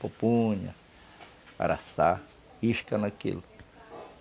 Pupunha, araçá, isca naquilo.